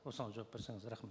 осыған жауап берсеңіз рахмет